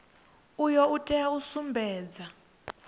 uyu u tea u sumbedza